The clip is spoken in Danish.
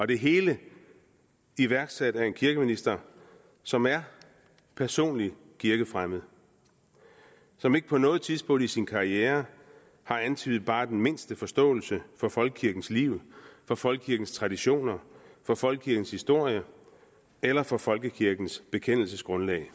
det hele iværksat af en kirkeminister som er personlig kirkefremmed som ikke på noget tidspunkt i sin karriere har antydet bare den mindste forståelse for folkekirkens liv for folkekirkens traditioner for folkekirkens historie eller for folkekirkens bekendelsesgrundlag